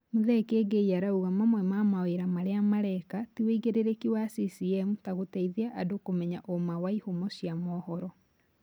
Muthee Kiengei arauga mamwe ma mawĩra marĩa marĩa mareka, ti ũigĩrĩrĩki wa CCM ta gũteithia andũ kũmenya ũma wa ihumo cia mohoro